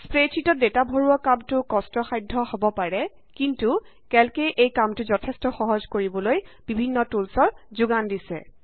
স্প্ৰেডশ্যিটত data ভৰোৱা কামটো কষ্ট সাধ্য হব পাৰে কিন্তু কেল্ক এ এই কামটো যঠেষ্ট সহজ কৰিবলৈ বিভিন্ন টুলচৰ যোগান দিছে